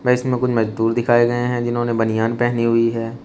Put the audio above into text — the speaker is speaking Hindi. इसमें कुछ मजदूर दिखाए गए हैं जिन्होंने बनियान पहनी हुई है।